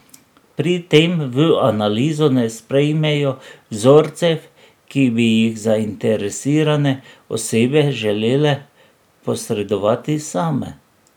Pri tem v analizo ne sprejmejo vzorcev, ki bi jih zainteresirane osebe želele posredovati same.